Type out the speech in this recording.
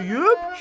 Çürüyüb?